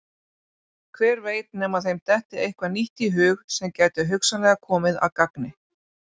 Hver veit nema þeim detti eitthvað nýtt í hug sem gæti hugsanlega komið að gagni.